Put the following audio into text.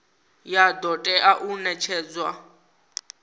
ya do tea u netshedzwa